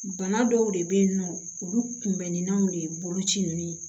Bana dɔw de be yen nɔ olu kunbɛnniw de ye boloci ninnu ye